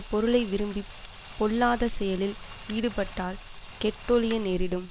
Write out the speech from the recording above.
பொருளை விரும்பி பொல்லாத செயலில் ஈடுபட்டால் கெட்டொழிய நேரிடும்